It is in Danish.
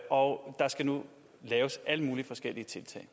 og der skal nu laves alle mulige forskellige tiltag